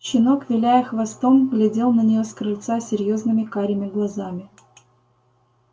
щенок виляя хвостом глядел на неё с крыльца серьёзными карими глазами